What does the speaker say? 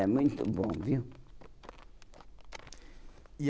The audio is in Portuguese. Era muito bom, viu? E